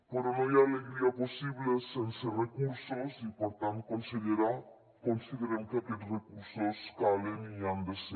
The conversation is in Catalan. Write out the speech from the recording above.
però no hi ha alegria possible sense recursos i per tant consellera considerem que aquests recursos calen i hi han de ser